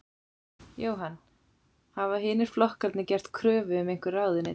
Jóhann: Hafa hinir flokkarnir gert kröfu um einhver ráðuneyti?